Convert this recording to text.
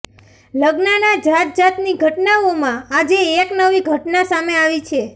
લગ્નના જાત જાતની ઘટના ઓમાં આજે એક નવી ઘટના સામે આવી છે